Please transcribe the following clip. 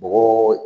Bɔgɔ